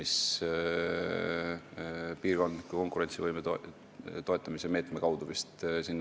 See investeeritakse sinna vist piirkondliku konkurentsivõime toetamise meetme kaudu.